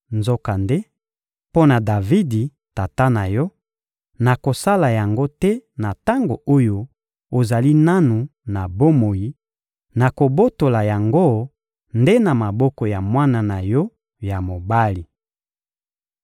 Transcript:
Nzokande, mpo na Davidi, tata na yo, nakosala yango te na tango oyo ozali nanu na bomoi; nakobotola yango nde na maboko ya mwana na yo ya mobali.